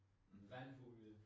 Mhm